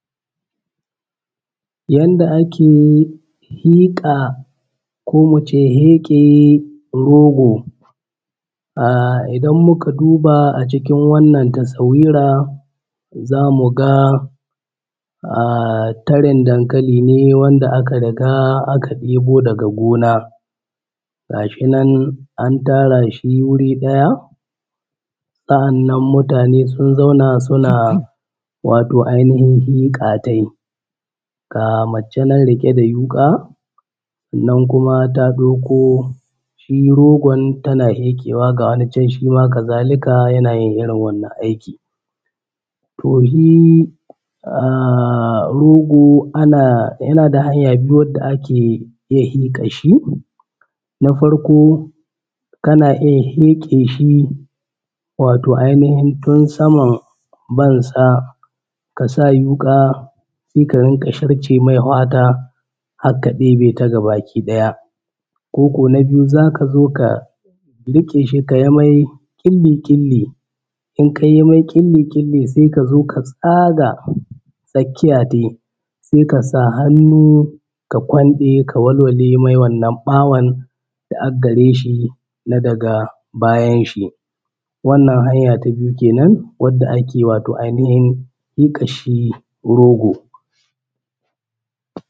Yanda ake fiƙa ko mu ce feƙe rogo, odan muka duba a cikin wannan taswira za mu ga tarin dankali ne wanda aka riga aka ɗebo daga gona. Ga shi nan an tara shi wuri ɗaya, Sannan muatane sun zauna suna fiƙa tai. Ga mace nan riƙe da wuƙa nan kuma ta ɗauki shi rogon ga wata can ta ɗauko. Haka zalika, ya a yin irin wannan aiki. To shi rogon yana da hanya biyu wanda ake fiƙan shi, na farko kana ita feƙe shi wato ainihin tun samansa ka sa wuƙa ka riƙa sharce mai fata har ka ɗebe ta gaba ki ɗaya. Ko na biyu za ka zo ka riƙe ta ka yi mai ƙili-ƙili sai ka zo ka tsaga tsakiya tai sai ka sa hannu kwalfe ka walwale mai wannan ɓawon da ag gare shi na daga bayan shi, wannan hanya ta biyu kenan wanda ake aihinin yanka shi rogo.